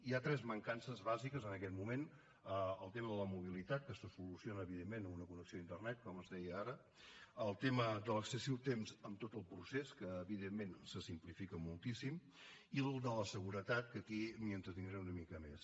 hi ha tres mancances bàsiques en aquest moment el tema de la mobilitat que se soluciona evidentment amb una connexió a internet com es deia ara el tema de l’excessiu temps en tot el procés que evidentment se simplifica moltíssim i el de la seguretat que aquí m’hi entretindré una mica més